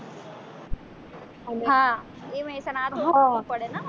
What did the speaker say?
હા એ મેહસાણા